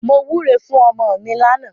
Mo wúre fún ọmọ mi lánàá.